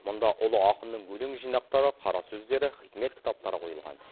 мұнда ұлы ақынның өлең жинақтары қара сөздері хикмет кітаптары қойылған